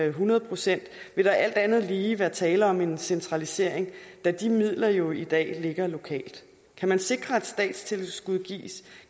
et hundrede procent vil der alt andet lige være tale om en centralisering da de midler jo i dag ligger lokalt kan man sikre at et statstilskud